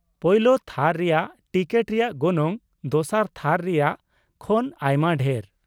ᱯᱳᱭᱞᱳ ᱛᱷᱟᱨ ᱨᱮᱭᱟᱜ ᱴᱤᱠᱤᱴ ᱨᱮᱭᱟᱜ ᱜᱚᱱᱚᱝ ᱫᱚᱥᱟᱨ ᱛᱷᱟᱨ ᱨᱮᱭᱟᱜ ᱠᱷᱚᱱ ᱟᱭᱢᱟ ᱰᱷᱮᱨ ᱾